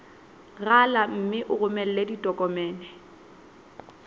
rala mme o romele ditokomene